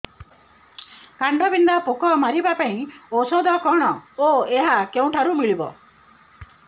କାଣ୍ଡବିନ୍ଧା ପୋକ ମାରିବା ପାଇଁ ଔଷଧ କଣ ଓ ଏହା କେଉଁଠାରୁ ମିଳିବ